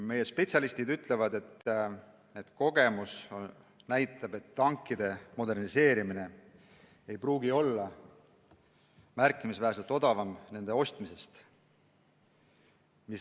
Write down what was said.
Meie spetsialistid ütlevad, et kogemuse kohaselt ei pruugi tankide moderniseerimine olla märkimisväärselt odavam nende ostmisest.